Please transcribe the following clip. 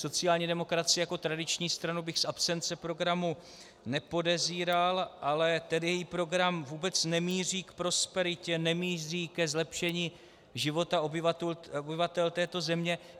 Sociální demokracii jako tradiční stranu bych z absence programu nepodezíral, ale ten její program vůbec nemíří k prosperitě, nemíří ke zlepšení života obyvatel této země.